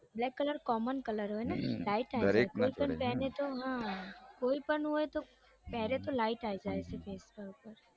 black colour common colour હોય ને light આવી જાય કોઈ પણ પેહરે તો હમ કોઈ પણ હોય તો પેહરે તો light આવી જાય હમ